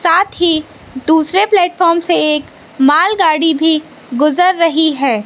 साथ ही दूसरे प्लेटफार्म से एक मालगाड़ी भी गुजर रही है।